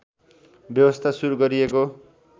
व्यवस्था सुरु गरिएको